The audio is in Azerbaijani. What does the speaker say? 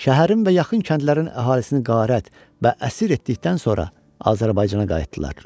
Şəhərin və yaxın kəndlərin əhalisini qarat və əsir etdikdən sonra Azərbaycana qayıtdılar.